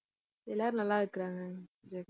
எல்லாரும் நல்லா இருக்கறாங்க. ஜெகன்